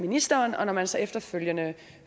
ministeren og når man så efterfølgende